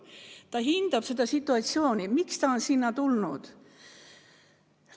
Pühhiaater hindab seda situatsiooni, miks laps on tema juurde tulnud.